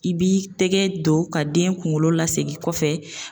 I b'i tɛgɛ don ka den kunkolo lasegin kɔfɛ.